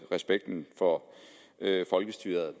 respekten for folkestyret